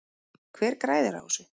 Hver græðir á þessu?